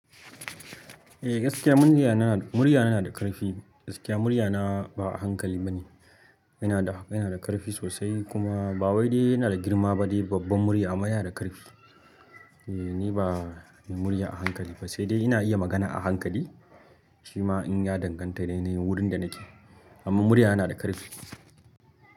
Eh, gaskiya murya na, murya na nada karfi. Gaskiya murya na ba a hankali bane. Yana da, yana da karfi sosai kuma ba wai dai yana da girma ba dai babban murya amma yana da karfi. Eh ni ba mai murya a hankali bane saide ina iya magana a hankali shima in ya danganta da yanayin wurin da nake. Amma murya yana da karfi.